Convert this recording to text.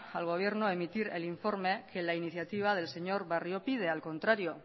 al gobierno emitir el informe que la iniciativa del señor barrio pide al contrario